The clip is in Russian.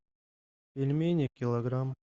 пельмени килограмм